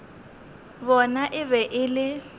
bona e be e le